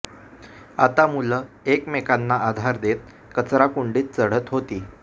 आता मुलं एकमेकांना आधार देत कचराकुंडीत चढत होती